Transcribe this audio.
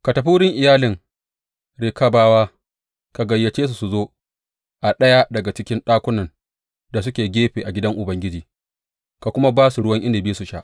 Ka tafi wurin iyalin Rekabawa ka gayyace su su zo a ɗaya daga cikin ɗakunan da suke gefe a gidan Ubangiji ka kuma ba su ruwan inabi su sha.